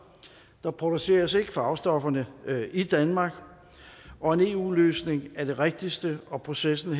der produceres ikke farvestoffer i danmark og en eu løsning er det rigtigste og processen